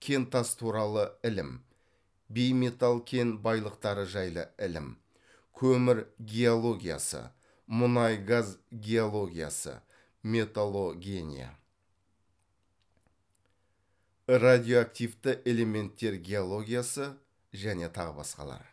кентас туралы ілім бейметалл кен байлықтары жайлы ілім көмір геологиясы мұнай газ геологиясы металлогения радиоактивті элементтер геологиясы және тағы басқалары